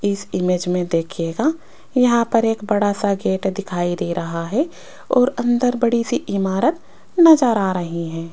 इस इमेज में देखियेगा यहां पर एक बड़ा सा गेट दिखाई दे रहा है और अंदर बड़ी सी इमारत नजर आ रही है।